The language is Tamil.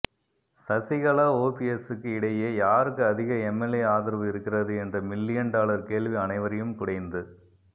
சசிகலா ஓபிஎஸ்சுக்கு இடையே யாருக்கு அதிக எம்எல்ஏ ஆதரவு இருக்கிறது என்ற மில்லியன் டாலர் கேள்வி அனைவரையும் குடைந்து